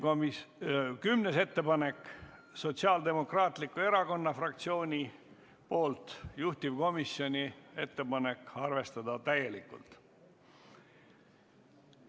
10. ettepanek on Sotsiaaldemokraatliku Erakonna fraktsioonilt, juhtivkomisjoni ettepanek on arvestada seda täielikult.